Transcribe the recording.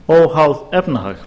óháð efnahag